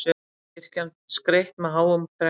Kirkjan skreytt með háum trjám